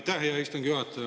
Aitäh, hea istungi juhataja!